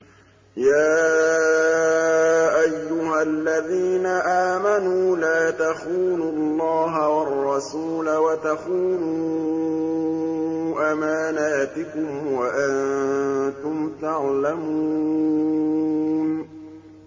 يَا أَيُّهَا الَّذِينَ آمَنُوا لَا تَخُونُوا اللَّهَ وَالرَّسُولَ وَتَخُونُوا أَمَانَاتِكُمْ وَأَنتُمْ تَعْلَمُونَ